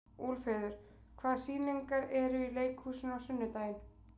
Úlfheiður, hvaða sýningar eru í leikhúsinu á sunnudaginn?